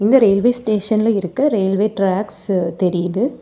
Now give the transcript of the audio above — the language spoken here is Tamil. இந்த ரயில்வே ஸ்டேஷன்ல இருக்க ரயில்வே டிராக்ஸ் தெரியிது.